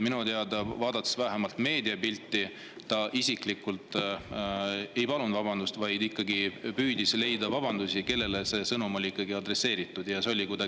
Minu teada, vaadates vähemalt meediapilti, ta isiklikult ei palunud vabandust, vaid ikkagi püüdis leida vabandusi ja, kellele see sõnum tegelikult oli adresseeritud.